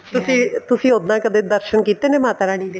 ਤੁਸੀਂ ਤੁਸੀਂ ਉੱਦਾਂ ਕਦੇ ਦਰਸ਼ਨ ਕੀਤੇ ਨੇ ਮਾਤਾ ਰਾਣੀ ਦੇ